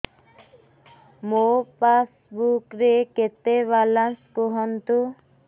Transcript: ମୋ ପାସବୁକ୍ ରେ କେତେ ବାଲାନ୍ସ କୁହନ୍ତୁ